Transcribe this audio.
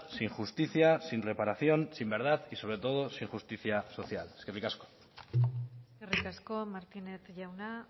sin justicia sin reparación sin verdad y sobre todo sin justicia social eskerrik asko eskerrik asko martínez jauna